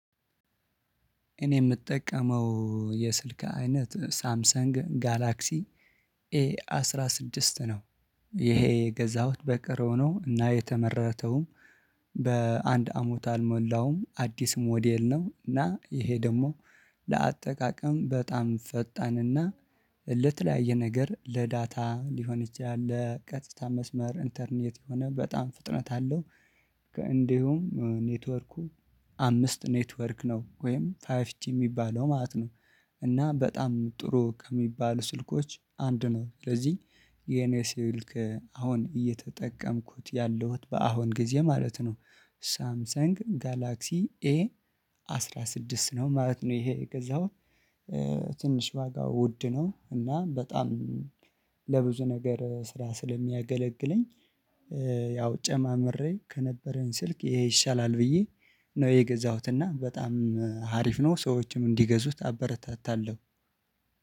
እኔ የምጠቀመው የስልክ አይነት ሳምሰንግ ጋላክሲ ኤ አስራ ስድስት ነው። ይሄ የገዛሁት በቅርብ ሆኖ እና የተመረተውም በአንድ አመት አልሞላውም አዲስ ሞዴል ነው እና ይሄ ደግሞ ለአጠቃቀም በጣም ፈጣንና ለተለያየ ነገር ለዳታ ሊሆን ይችላል ለቀጥታ መስመር ኢንተርኔት የሆነ በጣም ፍጥነት አለው። እንዲሁም ኔትወርኩ አምስት ኔትወርክ ነው ወይም ፋየፍጅ የሚባለው ማለት ነው። እና በጣም ጥሩ ከሚባል ስልኮች አንድ ነው። ስለዚህ የኔ ስልክ አሁን እየተጠቀምኩት ያለሁት በአሁን ጊዜ ማለት ነው። ሳምሰን ጋላክሲ ኤ አስራ ስድስት ነው ማለት ነው። ይሄ የገዛሁት ትንሽ ዋጋው ውድ ነው እና በጣም ለብዙ ነገር ስራ ስለሚያገለግለኝ። ያው ጨማምሬ ከነበረኝ ስልክ ይሄ ይሻላል ብዬ ነው የገዛሁት እና በጣም ሀሪፍ ነው። ሰዎችም እንዲገዙት አበረታታለሁ።